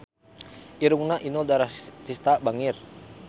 Irungna Inul Daratista bangir